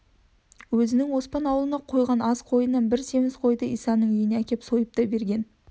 өзінің оспан аулына қойған азқойынан бір семіз қойды исаның үйіне әкеп сойып та берген